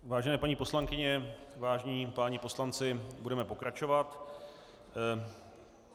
Vážené paní poslankyně, vážení páni poslanci, budeme pokračovat.